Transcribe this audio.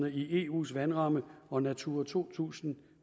i eus vandramme og natura to tusind